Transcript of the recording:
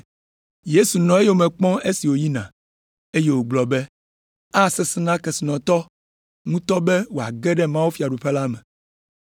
Yesu nɔ eyome kpɔm esi wòyina, eye wògblɔ be, “Asesẽ na kesinɔtɔ ŋutɔ be wòage ɖe mawufiaɖuƒe la me!